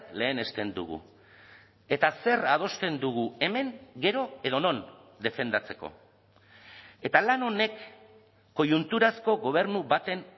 lehenesten dugu eta zer adosten dugu hemen gero edo non defendatzeko eta lan honek koiunturazko gobernu baten